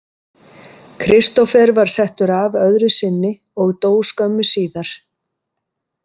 Kristófer var settur af öðru sinni og dó skömmu síðar.